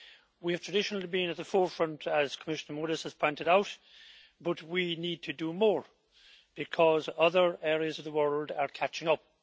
We have traditionally been at the forefront, as Commissioner Moedas has pointed out, but we need to do more because other areas of the world are catching up.